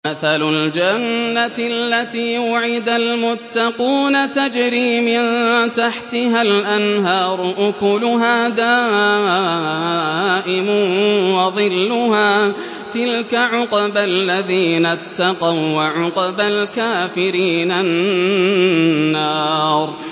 ۞ مَّثَلُ الْجَنَّةِ الَّتِي وُعِدَ الْمُتَّقُونَ ۖ تَجْرِي مِن تَحْتِهَا الْأَنْهَارُ ۖ أُكُلُهَا دَائِمٌ وَظِلُّهَا ۚ تِلْكَ عُقْبَى الَّذِينَ اتَّقَوا ۖ وَّعُقْبَى الْكَافِرِينَ النَّارُ